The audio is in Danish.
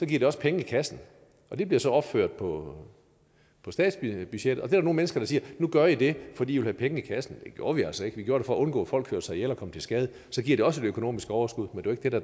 giver det også penge i kassen og det bliver så opført på statsbudgettet og der nogle mennesker der siger nu gør i det fordi i vil have penge i kassen det gjorde vi altså ikke vi gjorde det for at undgå at folk kørte sig ihjel og kom til skade så giver det også et økonomisk overskud men det var